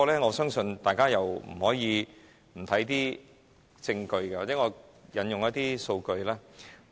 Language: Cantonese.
我相信大家不能不看證據，或許讓我引用一些數據。